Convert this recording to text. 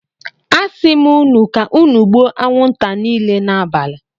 Asim unu ka unu gbuo anwunta nile n'abali.